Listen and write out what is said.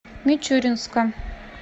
мичуринска